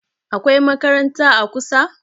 akwai makaranta a kusa?